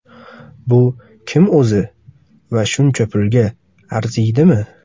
Bu kim o‘zi va shuncha pulga arziydimi?